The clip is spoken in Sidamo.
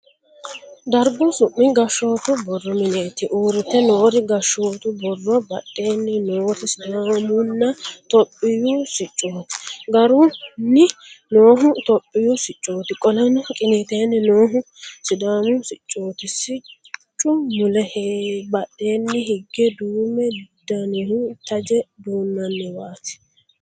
Dargu su'mi gashshootu borro mineeti. uurrite noori gashshootu borro mine massagganno mannaati. mannootaho badheenni noori sidaamunna tophiyu siccooti. guraanni noohu tophiyu siccooti, qoleno qiniiteenni noohu sidaamu siccooti. siccu mule badheenni hige duumu danihu taje duunnanniwaati.